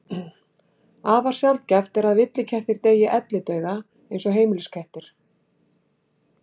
Afar sjaldgæft er að villikettir deyi ellidauða eins og heimiliskettir.